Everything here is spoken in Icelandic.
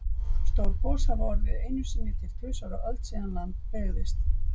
Stór gos hafa orðið einu sinni til tvisvar á öld síðan land byggðist.